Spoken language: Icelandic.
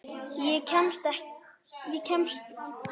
Ég kemst þetta einn.